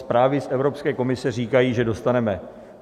Zprávy z Evropské komise říkají, že dostaneme.